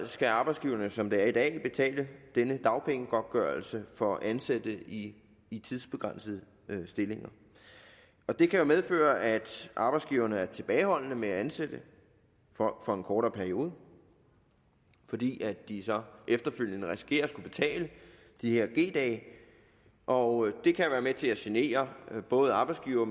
skal arbejdsgiverne som det er i dag betale denne dagpengegodtgørelse for at ansætte i i tidsbegrænsede stillinger og det kan jo medføre at arbejdsgiverne er tilbageholdende med at ansætte folk for en kortere periode fordi de så efterfølgende risikerer at skulle betale de her g dage og det kan være med til at genere både arbejdsgivere